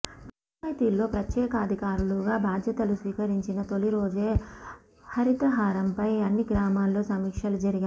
పంచాయితీల్లో ప్రత్యేకాధికారులుగా బాధ్యతలు స్వీకరించిన తొలిరోజే హరితహారంపై అన్ని గ్రామాల్లో సమీక్షలు జరిగాయి